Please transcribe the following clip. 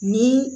Ni